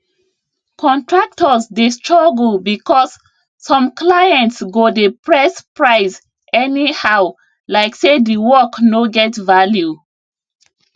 contractors dey struggle because some clients go dey press price anyhow like say the work no get value